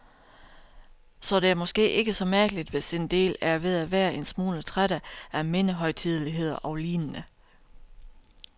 Så det er måske ikke så mærkeligt, hvis en del er ved at være en smule trætte af mindehøjtideligheder og lignende.